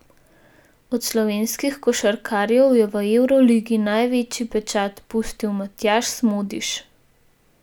Od slovenskih košarkarjev je v evroligi največji pečat pustil Matjaž Smodiš.